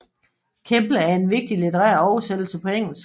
Kemble en vigtig litterær oversættelse på engelsk